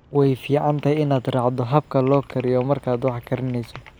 Way fiican tahay inaad raacdo habka loo kariyo markaad wax karinayso.